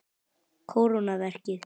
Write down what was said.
Kóróna verkið.